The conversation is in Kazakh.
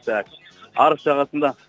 так арыс жағасында